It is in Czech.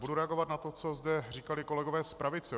Budu reagovat na to, co zde říkali kolegové z pravice.